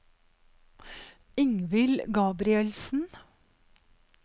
Ingvild Gabrielsen